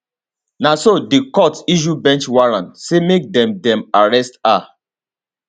na so di court issue bench warrant say make dem dem arrest her